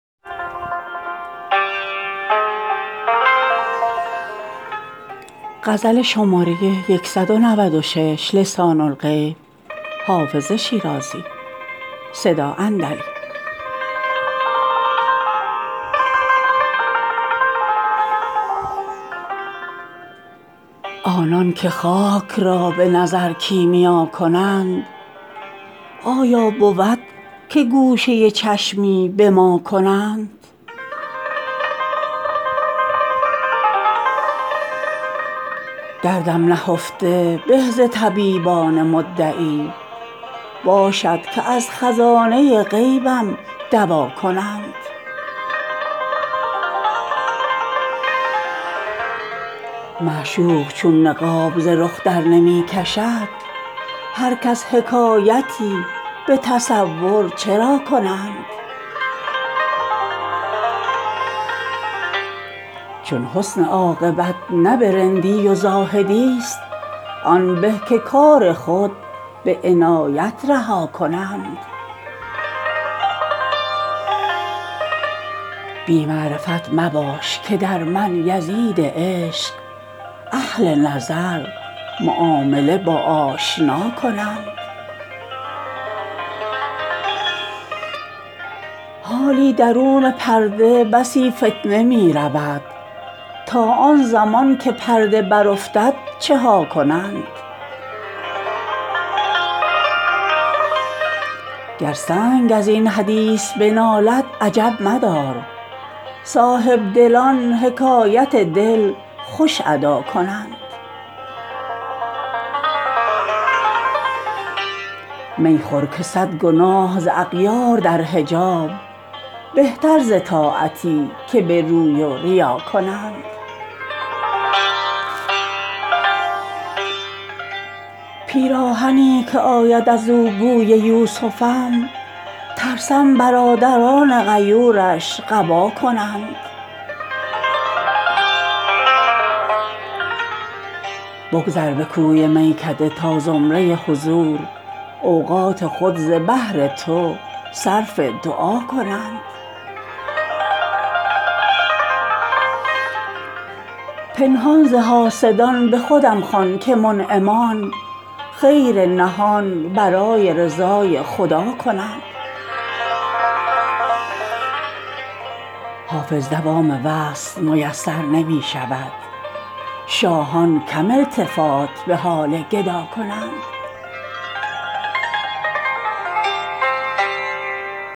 آنان که خاک را به نظر کیمیا کنند آیا بود که گوشه چشمی به ما کنند دردم نهفته به ز طبیبان مدعی باشد که از خزانه غیبم دوا کنند معشوق چون نقاب ز رخ درنمی کشد هر کس حکایتی به تصور چرا کنند چون حسن عاقبت نه به رندی و زاهدی ست آن به که کار خود به عنایت رها کنند بی معرفت مباش که در من یزید عشق اهل نظر معامله با آشنا کنند حالی درون پرده بسی فتنه می رود تا آن زمان که پرده برافتد چه ها کنند گر سنگ از این حدیث بنالد عجب مدار صاحبدلان حکایت دل خوش ادا کنند می خور که صد گناه ز اغیار در حجاب بهتر ز طاعتی که به روی و ریا کنند پیراهنی که آید از او بوی یوسفم ترسم برادران غیورش قبا کنند بگذر به کوی میکده تا زمره حضور اوقات خود ز بهر تو صرف دعا کنند پنهان ز حاسدان به خودم خوان که منعمان خیر نهان برای رضای خدا کنند حافظ دوام وصل میسر نمی شود شاهان کم التفات به حال گدا کنند